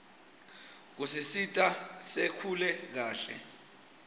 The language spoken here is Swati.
kusisita sikhule kahle